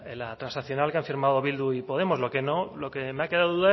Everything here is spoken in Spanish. la transaccional que han firmado bildu y podemos lo que me ha quedado